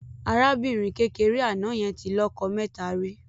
Arábìnrin kékeré àná yẹn tí lọ́jọ mẹ́ta rí.